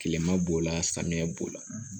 Kilema b'o la samiya b'o la